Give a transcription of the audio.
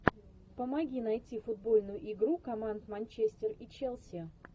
помоги найти футбольную игру команд манчестер и челси